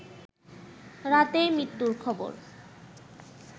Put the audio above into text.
রাতেই মৃত্যুর খবর